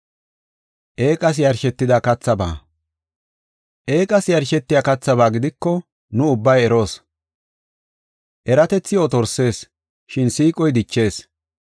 Eeqas yarshetiya kathaba gidiko nu ubbay eroos. Eratethi otorsees, shin siiqoy dichees.